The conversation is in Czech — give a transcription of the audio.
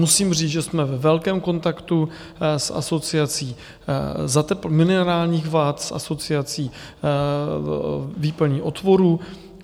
Musím říct, že jsme ve velkém kontaktu s asociací minerálních vat, s asociací výplní otvorů.